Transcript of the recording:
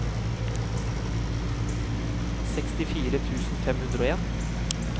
sekstifire tusen fem hundre og en